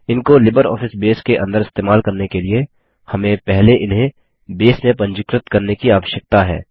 इनको LibreOffice Base के अंदर इस्तेमाल करने के लिए हमें पहले इन्हें बेस में पंजीकृत करने की आवश्यकता है